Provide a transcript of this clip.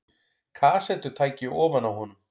Kassettutæki ofan á honum.